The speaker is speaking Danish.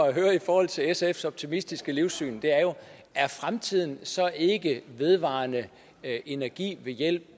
at høre i forhold til sfs optimistiske livssyn er fremtiden så ikke vedvarende energi ved hjælp